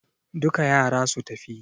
Duka yara su tafi!